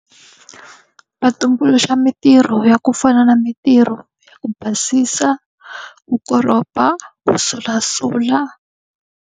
Va tumbuluxa mintirho ya ku fana na mintirho ya ku basisa, ku koropa, ku sulasula.